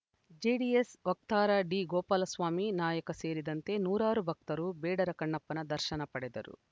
JDS ವಕ್ತಾರ ಡಿಗೋಪಾಲಸ್ವಾಮಿ ನಾಯಕ ಸೇರಿದಂತೆ ನೂರಾರು ಭಕ್ತರು ಬೇಡರ ಕಣ್ಣಪ್ಪನ ದರ್ಶನ ಪಡೆದರು